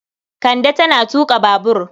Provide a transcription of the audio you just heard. Kande tana tuƙa babur.